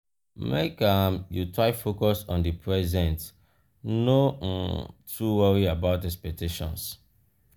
make um you try focus on di present no um too worry about expectations.